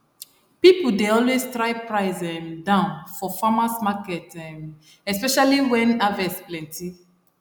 people dey always try price um down for farmers market um especially when harvest plenty